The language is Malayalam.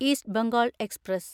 east Bengal express